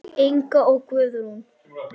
Inga og Guðrún.